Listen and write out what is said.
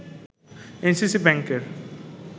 NCC ব্যাংকের